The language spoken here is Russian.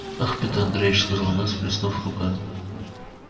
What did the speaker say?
ах пётр андреич сказала она сплеснув руками